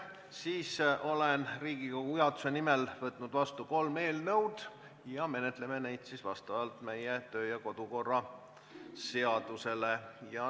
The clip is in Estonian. Siis olen Riigikogu juhatuse nimel võtnud vastu kolm eelnõu ja menetleme neid vastavalt meie kodu- ja töökorra seadusele.